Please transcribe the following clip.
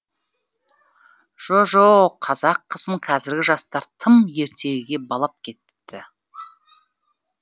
жо жоқ қазақ қызын қазіргі жастар тым ертегіге балап кетіпті